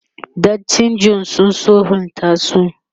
dattijan sun sulhunta su